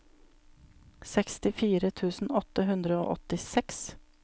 sekstifire tusen åtte hundre og åttiseks